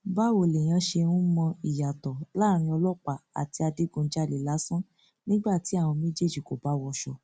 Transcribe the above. báwo lèèyàn ṣe ń mọ ìyàtọ láàrin ọlọpàá àti adigunjalè lásán nígbà tí àwọn méjèèjì kò bá wọṣọ